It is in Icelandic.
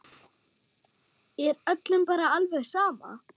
Er öllum bara alveg sama?